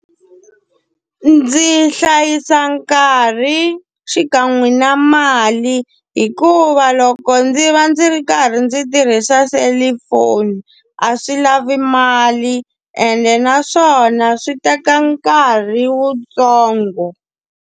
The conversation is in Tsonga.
Ndzi hlayisa nkarhi xikan'we na mali hikuva loko ndzi va ndzi ri karhi ndzi tirhisa selifoni, a swi lavi mali ene naswona swi teka nkarhi wutsongo.